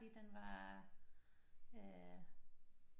Fordi den var øh